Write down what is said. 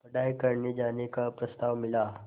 पढ़ाई करने जाने का प्रस्ताव मिला